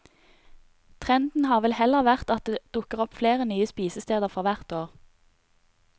Trenden har vel heller vært at det dukker opp flere nye spisesteder for hvert år.